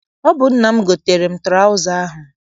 Ọ bụ nna m goteere m traụza ahụ.